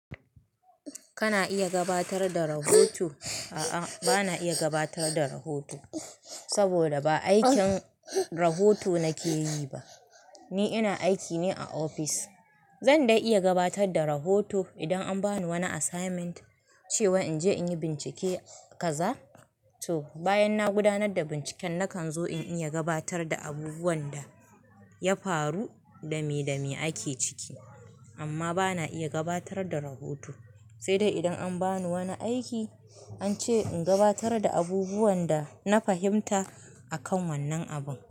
Kana iya gabatar da rahoto? A'a, bana iya gabatar da rahoto saboda ba aikin rahoto nake yi ba. Ni ina aiki ne a ofis. Zan dai iya gabatar da rahoto idan an ba ni wani assignment cewa in je in yi bincike kaza to bayan na gudanar da binciken, na kan zo in iya gabatar da abubuwan da ya faru, dame dame ake ciki. Amma bana iya gabatar da rahoto, sai dai idan an ba ni wani aiki an ce in gabatar da abubuwan da na fahimta akan wannan abun.